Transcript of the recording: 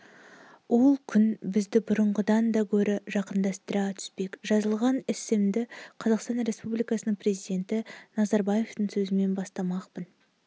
ол күн бізді бұрынғыдан да гөрі жақындастыра түспек жазылған эссемді қазақстан республикасының президенті назарбаевтың сөзімен бастамақпын